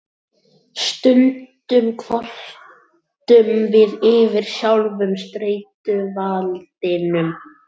Stundum kvörtum við yfir sjálfum streituvaldinum.